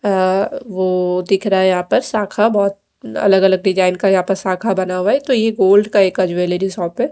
आ ओ दिख रहा है यहां पर शाखा बहोत अलग-अलग डिजाइन यहां पर शाखा बना हुआ है तो ये गोल्ड का ज्वेलरी शॉप है।